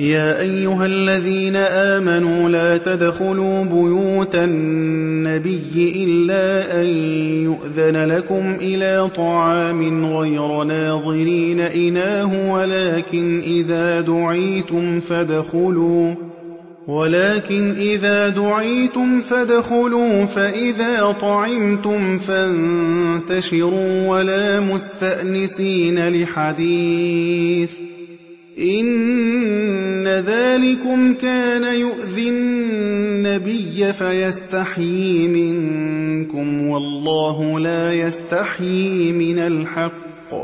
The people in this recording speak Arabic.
يَا أَيُّهَا الَّذِينَ آمَنُوا لَا تَدْخُلُوا بُيُوتَ النَّبِيِّ إِلَّا أَن يُؤْذَنَ لَكُمْ إِلَىٰ طَعَامٍ غَيْرَ نَاظِرِينَ إِنَاهُ وَلَٰكِنْ إِذَا دُعِيتُمْ فَادْخُلُوا فَإِذَا طَعِمْتُمْ فَانتَشِرُوا وَلَا مُسْتَأْنِسِينَ لِحَدِيثٍ ۚ إِنَّ ذَٰلِكُمْ كَانَ يُؤْذِي النَّبِيَّ فَيَسْتَحْيِي مِنكُمْ ۖ وَاللَّهُ لَا يَسْتَحْيِي مِنَ الْحَقِّ ۚ